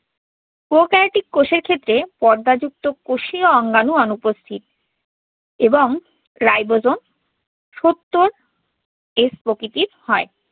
prokaryotic কোষের ক্ষেত্রে পর্দাযুক্ত কোষীয় অঙ্গাণু অনুপস্থিত। এবং ribosome সত্তর s প্রকৃতির হয়।